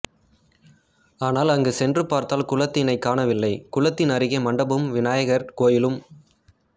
ஆனால் அங்கு சென்று பார்த்தால் குளத்தினை காணவில்லை குளத்தின் அருகே மண்டபமும் வினாயகர் கோயிலும்